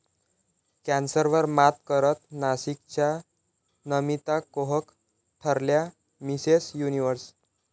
कॅन्सरवर मात करत नाशिकच्या नमिता कोहक ठरल्या मिसेस युनिव्हर्स